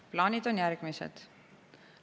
Plaanid on järgmised.